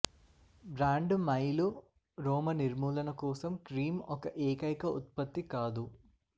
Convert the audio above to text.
brand మైలు రోమ నిర్మూలన కోసం క్రీమ్ ఒక ఏకైక ఉత్పత్తి కాదు